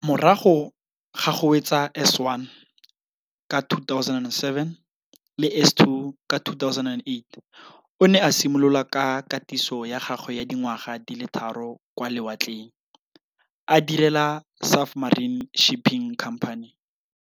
Morago ga go wetsa S1 ka 2007 le S2 ka 2008 o ne a simolola ka katiso ya gagwe ya dingwaga di le tharo kwa lewatleng, a direla Safmarine Shipping Company.